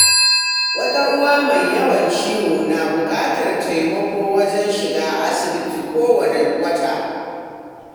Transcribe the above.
Wata uwa mai yawan ciwo na buƙatar taimako wajen shiga asibiti kowanne wata.